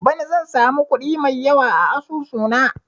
Bana zan samu kuɗi mai yawa a asusu na